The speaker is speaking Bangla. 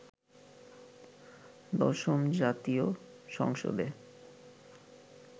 দশম জাতীয় সংসদে